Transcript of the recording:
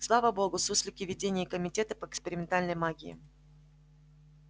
слава богу суслики в ведении комитета по экспериментальной магии